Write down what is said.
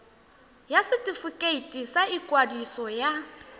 ya setefikeiti sa ikwadiso ya